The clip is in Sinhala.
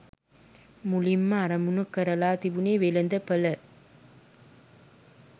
මුලින්ම අරමුණු කරලා තිබුණේ වෙළඳපළ.